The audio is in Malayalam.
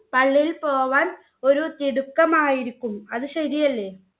പള്ളിയിൽ പോകാൻ ഒരു തിടുക്കം ആയിരിക്കും അത് ശെരിയല്ലെ